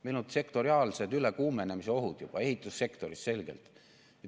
Meil on juba sektoriaalsed ülekuumenemise ohud, näiteks ehitussektoris.